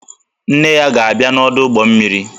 Nne ya ga-abia n'ọdụ ụgbọ mmiri